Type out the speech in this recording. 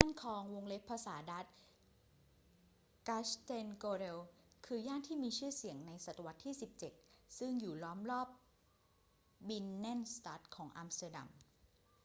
ย่านคลอง ภาษาดัตช์: grachtengordel คือย่านที่มีชื่อเสียงในศตวรรษที่ 17 ซึ่งอยู่ล้อมรอบบินเนนสตัดของอัมสเตอร์ดัม